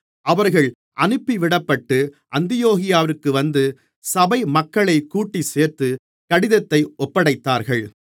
அவர்கள் அனுப்பிவிடப்பட்டு அந்தியோகியாவிற்கு வந்து சபை மக்களைக் கூட்டிச்சேர்த்து கடிதத்தை ஒப்படைத்தார்கள்